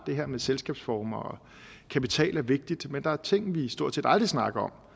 det her med selskabsformer og kapital er vigtigt men der er ting vi stort set aldrig snakker